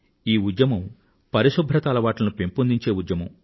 ఈ ఉద్యమం పరిశుభ్రత అలవాట్లను పెంపొందించే ఉద్యమం